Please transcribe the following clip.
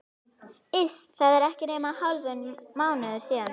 Iss, það er ekki nema hálfur mánuður síðan.